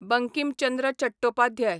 Bankim Chandra Chattopadhyay